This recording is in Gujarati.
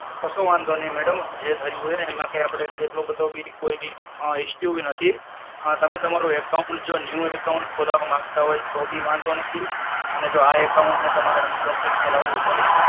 કસો વાંધો નઇ madam, જે થયું હોય એ એમાં કઈ આપડે એટલો બધો બી કોઈ અમ issue બી નથી, અમ તમે તમારો account જો new account ખોલાવા માંગતા હોય તો બી વાંધો નથી અને જો આ account ને તમારે unblocked કરાવું હોય